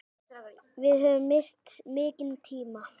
Við höfum misst mikinn tíma.